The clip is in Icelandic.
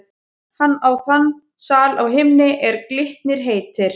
Hann á þann sal á himni, er Glitnir heitir.